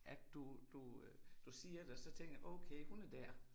At du du øh du siger det og så tænker jeg okay hun er der